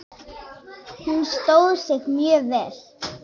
Hún stóð sig mjög vel.